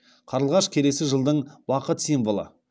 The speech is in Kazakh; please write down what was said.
қарлығаш келесі жылдың бақыт символы